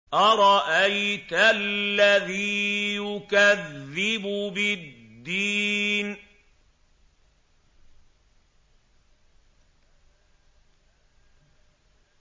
أَرَأَيْتَ الَّذِي يُكَذِّبُ بِالدِّينِ